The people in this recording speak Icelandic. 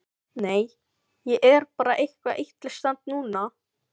Nei, ég er bara eitthvað illa stemmd núna.